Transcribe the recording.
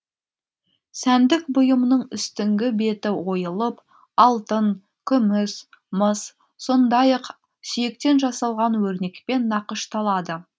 сәндік бұйымның үстіңгі беті ойылып алтын күміс мыс сондай ақ сүйектен жасалған өрнекпен нақышталады